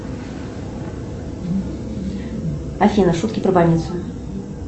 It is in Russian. афина шутки про больницу